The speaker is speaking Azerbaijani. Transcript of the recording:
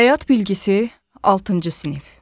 Həyat bilgisi altıncı sinif.